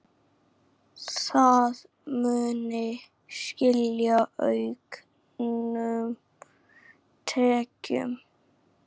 Það muni skila auknum tekjum.